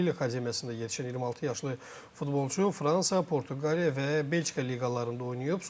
Lil Akademiyasında yetişən 26 yaşlı futbolçu Fransa, Portuqaliya və Belçika liqalarında oynayıb.